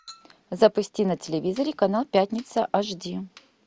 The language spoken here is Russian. запусти на телевизоре канал пятница аш ди